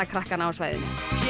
krakkana á svæðinu